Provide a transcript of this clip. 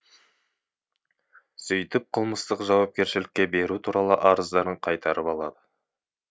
сөйтіп қылмыстық жауапкершілікке беру туралы арыздарын қайтарып алады